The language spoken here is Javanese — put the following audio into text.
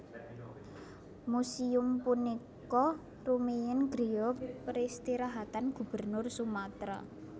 Museum punika rumiyin griya peristirahatan Gubernur Sumatera